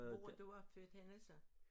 Hvor du er født henne så